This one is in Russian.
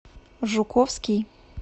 жуковский